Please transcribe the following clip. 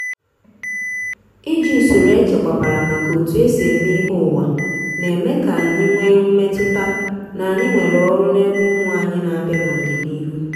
iji usoro echekwabara maka etu esi eme ihe uwa n'eme ka anyị nwee mmetụta na anyị nwere ọrụ n’ebe ụmụ anyị n'abịa n’ọdịnihu.